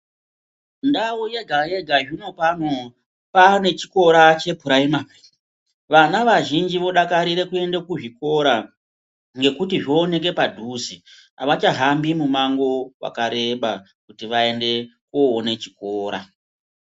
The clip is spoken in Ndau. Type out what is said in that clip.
Ndau yega yega zvinopano paane chikora chepuraimari vana vazhinji vodakarira kuende kuzvikora ngekuti zvooneke padhuze avachahambi mumango wakareba kuti vaende koone chikora.